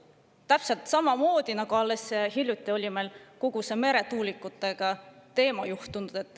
Täpselt samamoodi, nagu alles hiljuti oli meil kogu see meretuulikute teema.